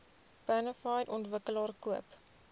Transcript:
bonafide ontwikkelaar koop